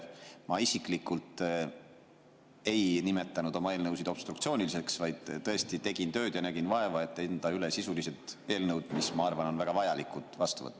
Ma isiklikult ei nimetanud oma eelnõusid obstruktsiooniliseks, vaid tõesti tegin tööd ja nägin vaeva, et anda üle sisulised eelnõud, mis, ma arvan, on väga vajalikud ja tuleks vastu võtta.